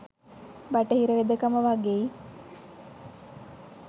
බටහිර වෙදකම වගෙයි.